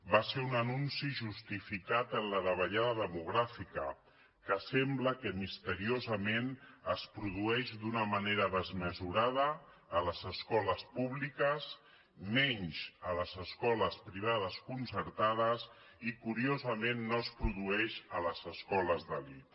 va ser un anunci justificat amb la davallada demogràfica que sembla que misteriosament es produeix d’una manera desmesurada a les escoles públiques menys a les escoles privades concertades i curiosament no es produeix a les escoles d’elit